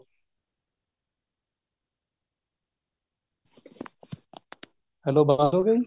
hello ਹੋ ਗਈ